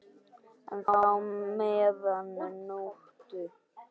enn þá meðan nóttu